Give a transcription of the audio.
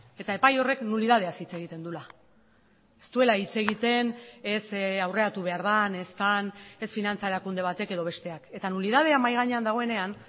eta epai horrek nulidadeaz hitz egiten duela ez duela hitz egiten ez aurreratu behar den ez den ez finantza erakunde batek edo besteak eta nulidadea mahai gainean dagoenean